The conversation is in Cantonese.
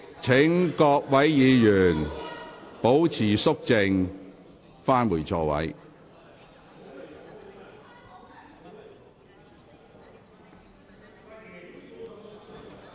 請各位議員保持肅靜，返回座位。